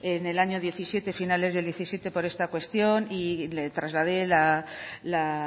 en el año diecisiete finales del diecisiete por esta cuestión y le trasladé la